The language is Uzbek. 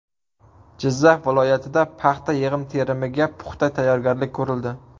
Jizzax viloyatida paxta yig‘im-terimiga puxta tayyorgarlik ko‘rildi.